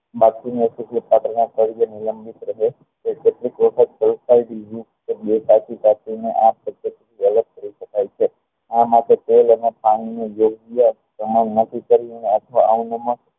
માટી ની આ માટે તેલ અને પાણી ની નક્કી કરી ને